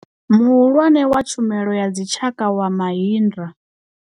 Muhulwane wa Tshumelo ya Dzitshaka wa Mahindra.